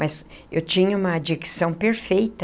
Mas eu tinha uma dicção perfeita.